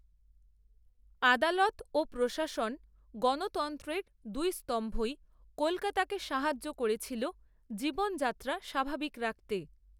আদালত ও প্রশাসন গণতন্ত্রের দুই স্তম্ভই কলকাতাকে সাহায্য করেছিল জীবনযাত্রা স্বাভাবিক রাখতে